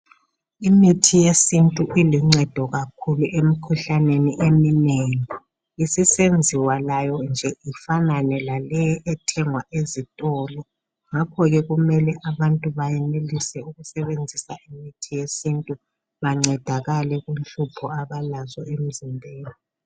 Imithi yesintu iluncedo kakhulu emikhuhlaneni eminengi, isisenziwa layo nje ifanane laleyi ethengwa ezitolo ngakhoke kumele abantu bayenelise ukusebenzisa imithi yesintu bancedakale kunhlupho abalazo emzimbeni.